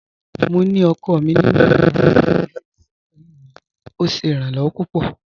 Mò ní ọkọ mi nínu yàrà ifijíṣẹ̀ pẹ̀lú mi, ọ̀ ṣé iràn-lọwọ̀ pupọ̀.